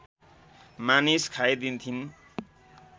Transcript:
मानिस खाइदिन्थिन्